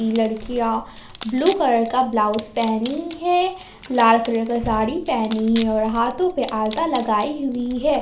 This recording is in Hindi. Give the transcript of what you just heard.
लड़कियां ब्लू कलर का ब्लाउज पहनी है लाल कलर का साड़ी पहनी है और हाथों पर आलता लगाई हुई है।